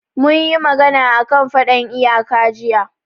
Mun yi magana a kan faɗan iyaka jiya